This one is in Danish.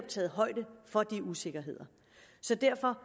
taget højde for de usikkerheder så derfor